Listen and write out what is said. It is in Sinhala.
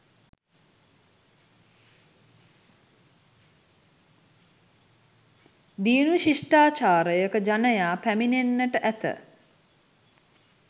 දියුණු ශිෂ්ඨාචාරයක ජනයා පැමිණෙන්නට ඇත.